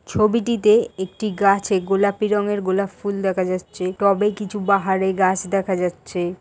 ছবিটিতে একটি গাছে গোলাপি রঙের গোলাপ ফুল দেখা যাচ্ছে। টবে কিছু বাহারে গাছ দেখা যাচ্ছে।